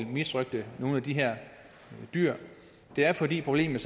misrøgte nogen af de her dyr det er fordi problemerne